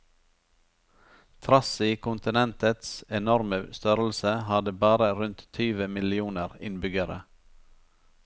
Trass i kontinentets enorme størrelse, har det bare rundt tyve millioner innbyggere.